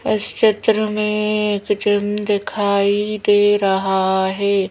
इस चित्र में एक जिम दिखाई दे रहा है।